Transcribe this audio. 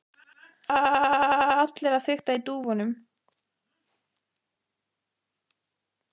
Annars eru allir að fikta í dúfunum.